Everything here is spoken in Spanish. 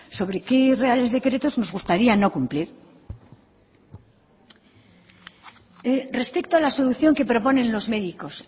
sobre qué reales decretos nos gustaría no cumplir respecto a la solución que proponen los médicos